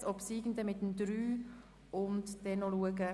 Der Obsiegende wird dem Abänderungsantrag 3 gegenübergestellt.